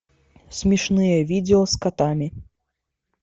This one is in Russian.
смешные видео с котами